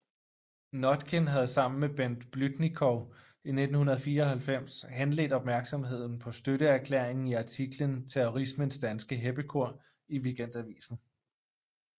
Notkin havde sammen med Bent Blüdnikow i 1994 henledt opmærksomheden på støtteerklæringen i artiklen Terrorismens danske heppekor i Weekendavisen